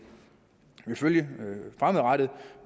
følge fremadrettet